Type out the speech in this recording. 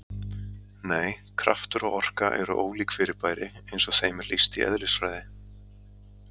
Nei, kraftur og orka eru ólík fyrirbæri eins og þeim er lýst í eðlisfræði.